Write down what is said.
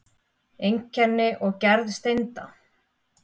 Einkenni og gerð steinda